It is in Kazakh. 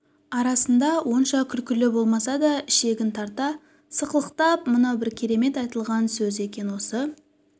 арасында онша күлкілі болмаса да ішегін тарта сықылықтап мынау бір керемет айтылған сөз екен осы